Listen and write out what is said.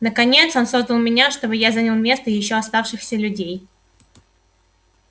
наконец он создал меня чтобы я занял место ещё оставшихся людей